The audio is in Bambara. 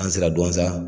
An sera duwanza